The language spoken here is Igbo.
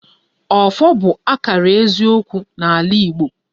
Ọfọ bụ akara eziokwu n'ala Igbo